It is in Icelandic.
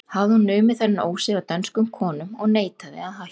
Hafði hún numið þennan ósið af dönskum konum og neitaði að hætta.